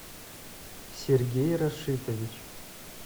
сергей рашитович